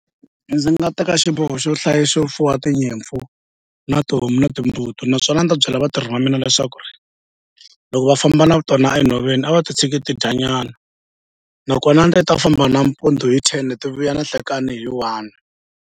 Ndzi nga teka xiboho xo xo fuwa tinyimpfu na tihomu na timbuti naswona a ndzi ta byela vatirhi va mina leswaku ri loko va famba na tona enhoveni a va ti tshiki ti dya nyana nakona ndzi ta famba nampundzu hi ten ti vuya na nhlekani hi one.